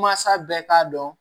Mansa bɛɛ k'a dɔn